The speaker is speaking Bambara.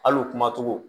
Hali u kumacogo